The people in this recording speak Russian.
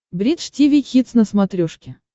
бридж тиви хитс на смотрешке